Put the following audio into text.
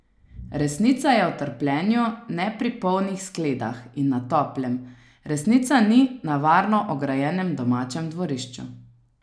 Resnica je v trpljenju, ne pri polnih skledah in na toplem, resnica ni na varno ograjenem domačem dvorišču.